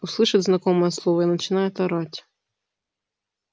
услышит знакомое слово и начинает орать